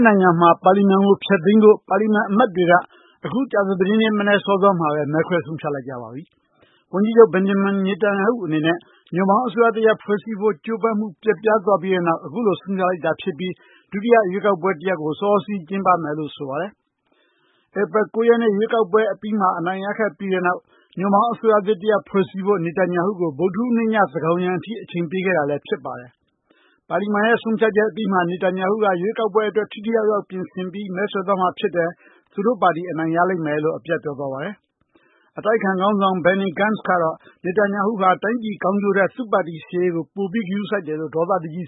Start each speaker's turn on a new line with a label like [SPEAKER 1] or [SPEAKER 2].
[SPEAKER 1] နိုင်ငံမှာ ပါလီမန်ကို ဖျက်သိမ်းဖို့ ပါလီမန် အမတ်တွေက အခု ကြာသပတေးနေ့ မနက်စောစောမှာဘဲ မဲခွဲဆုံးဖြတ်လိုက်ကြပါပြီ။ ဝန်ကြီးချုပ် Benjamin Netanyahu အနေနဲ့ ညွန့်ပေါင်းအစိုးရတရပ် ဖွဲ့စည်းဖို့ ကြိုးပမ်းမှု ပျက်ပြားသွားပြီးတဲ့နောက် အခုလို ဆုံးဖြတ်လိုက်တာဖြစ်ပြီး ဒုတိယ ရွေးကောက်ပွဲ တရပ်ကို စောစောစီးစီး ကျင်းပမယ်လို့ ဆိုပါတယ်။ ဧပြီ ၉ ရက်နေ့ ရွေးကောက်ပွဲ အပြီးမှာ အနိုင်ရခဲ့ပြီးတဲ့နောက် ညွန့်ပေါင်း အစိုးရသစ် တရပ် ဖွဲ့စည်းဖို့ Netanyahu ကို ဗုဒ္ဓဟူးနေ့ည သန်းခေါင်းယံ အထိ အချိန်ပေး ခဲ့တာလည်းဖြစ်ပါတယ်။ ပါလီမန်ရဲ့ ဆုံးဖြတ်ချက် အပြီးမှာ Netanyahu က ရွေးကောက်ပွဲ အတွက် ထိထိရောက်ရောက် ပြင်ဆင်ပြီး မဲဆွယ်သွားမှာ ဖြစ်တယ်၊ သူတို့ ပါတီ အနိုင်ရလိမ့်မယ်လို့ အပြတ်ပြောသွားပါတယ်။ အတိုက်အခံ ခေါင်းဆောင် Benny Gants ကတော့ Netanyahu ဟာ တိုင်းပြည် ကောင်းကျိုးထက် သူ့ပါတီရှေ့ရေးက
[SPEAKER 2] ို ပိုပြီး ဂရုစိုက်တယ်လို့ ဒေါသတကြီး